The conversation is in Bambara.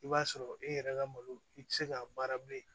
I b'a sɔrɔ e yɛrɛ ka malo i tɛ se ka baara bilen